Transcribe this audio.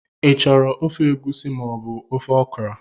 Ị chọrọ ofe egusi ma ọ bụ ofe okra?.